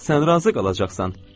Sən razı qalacaqsan.